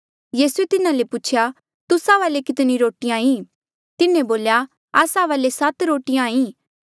यीसूए तिन्हा ले पूछेया तुस्सा वाले कितनी रोटिया ई तिन्हें बोल्या आसा वाले सात रोटिया ई